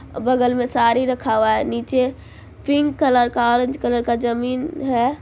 बगल में साड़ी रखा हुआ है नीचे पिंक कलर का ऑरेंज कलर का जमीन है।